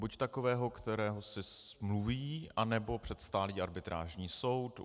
Buď takového, kterého si smluví, anebo před stálý arbitrážní soud.